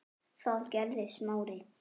Við dveljum þarna öll sumur.